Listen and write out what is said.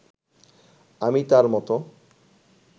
আমি তাঁর মতো